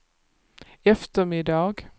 eftermiddag